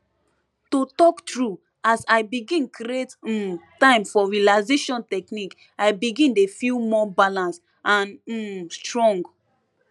to talk true as l begin create um time for relaxation technique i begin dey feel more balance and um strong